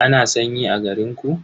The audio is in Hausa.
Ana sanyi a garinku?